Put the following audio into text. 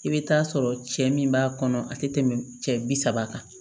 I bɛ taa sɔrɔ cɛ min b'a kɔnɔ a tɛ tɛmɛ cɛ bi saba kan